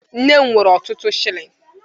Nne m nwere ọtụtụ shilling